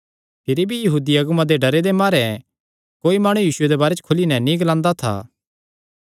भिरी भी यहूदी अगुआं दे डरे दे मारे कोई माणु यीशुये दे बारे च खुली नैं नीं ग्लांदा था